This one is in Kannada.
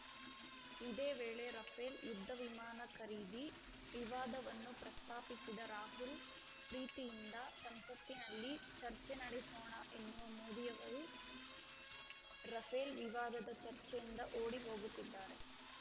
ಇದೇ ವೇಳೆ ರಫೇಲ್‌ ಯುದ್ಧವಿಮಾನ ಖರೀದಿ ವಿವಾದವನ್ನೂ ಪ್ರಸ್ತಾಪಿಸಿದ ರಾಹುಲ್‌ ಪ್ರೀತಿಯಿಂದ ಸಂಸತ್ತಿನಲ್ಲಿ ಚರ್ಚೆ ನಡೆಸೋಣ ಎನ್ನುವ ಮೋದಿಯವರು ರಫೇಲ್‌ ವಿವಾದದ ಚರ್ಚೆಯಿಂದ ಓಡಿ ಹೋಗುತ್ತಿದ್ದಾರೆ